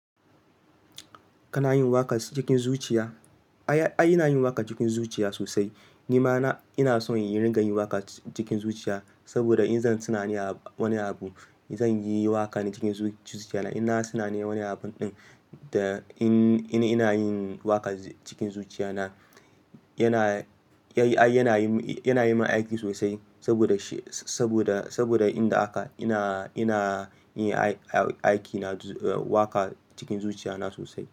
Kana yin waƙa cikin zuciya? Ai, ai ina yin waƙa cikin zuciya sosai. Ni ma ina son yin rigar yin waƙa cikin zuciya, saboda in zan tunanin wani abu, zan yi waƙa cikin zuciya na. In na tunanin wani abun ɗin, da in ina yin waƙa cikin zuciya na, yana, yana yi, yana yi min aiki sosai. Saboda shi, saboda, saboda inda haka ina, ina yin aiki na waƙa cikin zuciya na sosai.